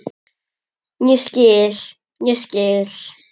Ég skil, ég skil.